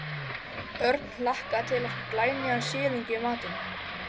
Örn hlakkaði til að fá glænýjan silung í matinn.